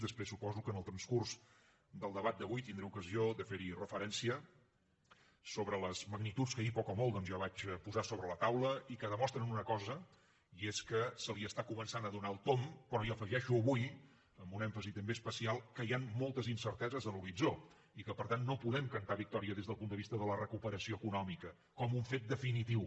després suposo que en el transcurs del debat d’avui tindré ocasió de fer hi referència sobre les magnituds que ahir poc o molt ja vaig posar sobre la taula i que demostren una cosa i és que s’hi està començant a donar el tomb però hi afegeixo avui amb un èmfasi també especial que hi han moltes incerteses a l’horitzó i que per tant no podem cantar victòria des del punt de vista de la recuperació econòmica com un fet definitiu